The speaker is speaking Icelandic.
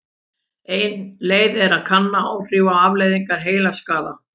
Ein leið er að kanna áhrif og afleiðingar heilaskaða.